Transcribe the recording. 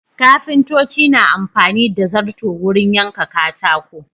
Kafintoci na amfani da zarto wurin yanka katako.